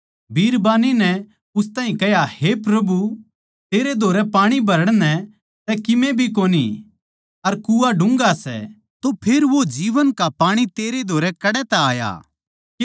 बिरबान्नी नै उस ताहीं कह्या हे प्रभु तेरै धोरै पाणी भरण नै तै किमे सै भी कोनी अर कुआँ डून्घा सै तै फेर वो जीवन का पाणी तेरै धोरै कड़ै तै आया